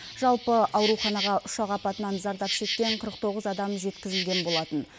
жалпы ауруханаға ұшақ апатынан зардап шеккен қырық тоғыз адам жеткізілген болатын